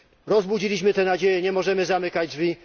Rozbudziliśmy te nadzieje, nie możemy zamykać drzwi.